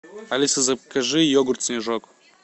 алиса закажи йогурт снежок